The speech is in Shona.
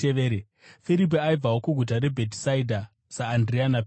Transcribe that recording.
Firipi, aibvawo kuguta reBhetisaidha saAndirea naPetro,